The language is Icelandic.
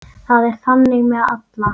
Það er þannig með alla.